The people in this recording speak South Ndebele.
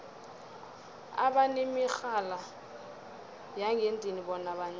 abanemirhala yangendlini bona bancani